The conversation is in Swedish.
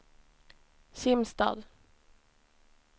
Kimstad